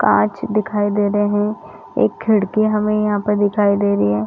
काँच दिखाई दे रहे है एक खिड़की हमें यहाँ पर दिखाई दे रही है।